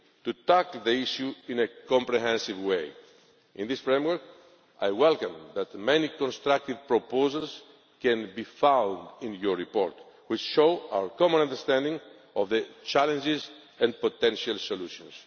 beginning to tackle the issue in a comprehensive way. In this framework, I welcome the fact that many constructive proposals can be found in your report, which shows our common understanding of the challenges and potential